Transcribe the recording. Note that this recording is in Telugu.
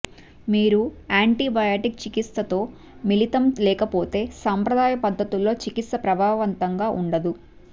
మీరు యాంటీబయాటిక్ చికిత్స తో మిళితం లేకపోతే సంప్రదాయ పద్ధతుల్లో చికిత్స ప్రభావవంతంగా ఉండదు